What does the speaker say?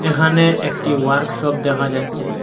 এখানে একটি ওয়ার্কশপ দেখা যাচ্ছে।